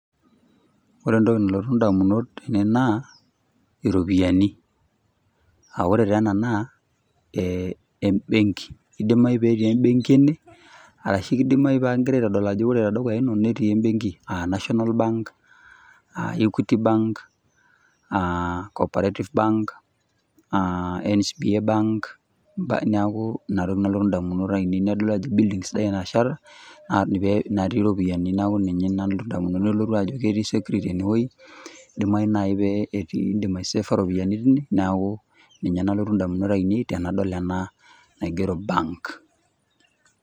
Ore entoki nalotu indamunot tene naa iropiyiani aa ore taa ena naa embenki ,idimayu petii embenki ene niaku inatoki nalotu indamunot ainei nitodolu ajo benki sidai nasheta netii iropiyiani nielotu indamunot naa ketii security inewueji, idimayu nai pisave iropiyiani teine , niaku ninye nalotu indamunot ainei tenadol ena naigero bank.